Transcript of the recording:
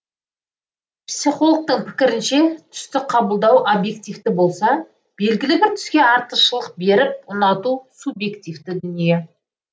психологтың пікірінше түсті қабылдау объективті болса белгілі бір түске артықшылық беріп ұнату субъективті дүние